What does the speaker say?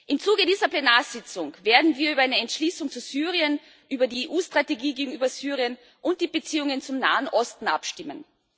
Im Zuge dieser Plenarsitzung werden wir über eine Entschließung zu Syrien, über die EU Strategie gegenüber Syrien und die Beziehungen zum Nahen Osten abstimmen.